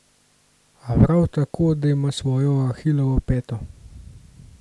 A prav tako, da ima svojo ahilovo peto.